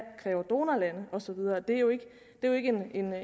donorlande og så videre det er jo ikke